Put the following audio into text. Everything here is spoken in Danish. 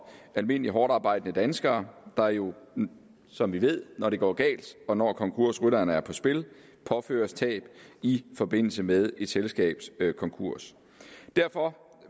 almindelige hårdtarbejdende danskere der jo som vi ved når det går galt og når konkursrytterne er på spil påføres tab i forbindelse med et selskabs konkurs derfor